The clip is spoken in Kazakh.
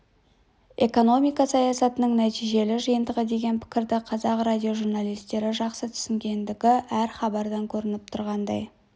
экономика саясаттың нәтижелі жиынтығы деген пікірді қазақ радиожурналистері жақсы түсінгендігі әр хабардан көрініп тұрғандай